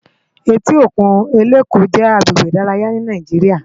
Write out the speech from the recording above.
Éti ókún Eleko jè àgbégbé idàráyá ni Nàijiriá